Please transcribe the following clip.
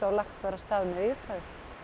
lagt var af stað með í upphafi